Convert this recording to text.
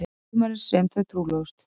Sumarið sem þau trúlofuðust.